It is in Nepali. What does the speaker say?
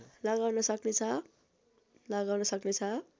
लगाउन सक्नेछ